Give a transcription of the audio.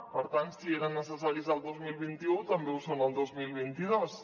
per tant si eren necessaris el dos mil vint u també ho són el dos mil vint dos